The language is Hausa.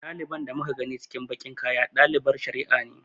Ɗaliban da muka gani cikin baƙin kaya ɗaliban shari'a ne.